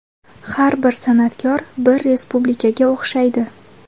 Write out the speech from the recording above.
Har bir san’atkor bir respublikaga o‘xshaydi.